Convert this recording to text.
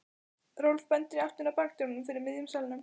Rolf bendir í áttina að bakdyrunum fyrir miðjum salnum.